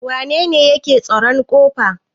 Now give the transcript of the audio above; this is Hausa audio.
wanene yake tsaron ƙofa?